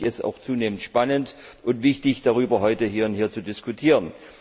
Deshalb finde ich es auch zunehmend spannend und wichtig, darüber heute hier zu diskutieren.